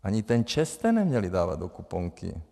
Ani ten ČEZ jste neměli dávat do kuponky.